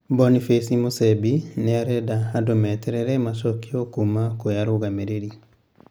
Boniface Musembi niarenda andũ meterere macokio kuma kwi arũgamĩrĩri,